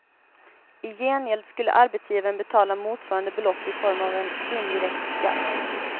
I gengäld skulle arbetsgivaren betala motsvarande belopp i form av en indirekt skatt.